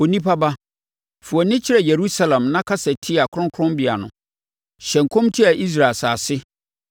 “Onipa ba, fa wʼani kyerɛ Yerusalem na kasa tia kronkronbea no. Hyɛ nkɔm tia Israel asase